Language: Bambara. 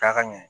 Taa ka ɲɛ